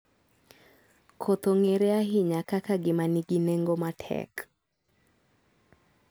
Koth ong'ere ahinya kaka gima nigi nengo matek.